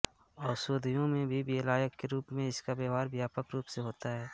ओषधियों में भी विलायक के रूप में इसका व्यवहार व्यापक रूप से होता है